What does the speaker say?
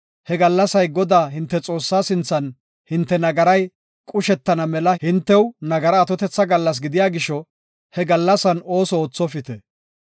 He gallasay Godaa hinte Xoossaa sinthan hinte nagaray qushetana mela hinte nagaraa atotetha gallas gidiya gisho he gallasan ooso oothopite.